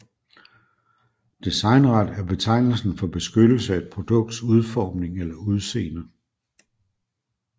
Designret er betegnelsen for beskyttelse af et produkts udforming eller udseende